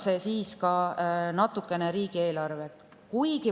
See muudab natukene ka riigieelarvet.